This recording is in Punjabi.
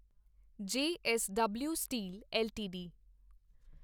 JSW steel LTD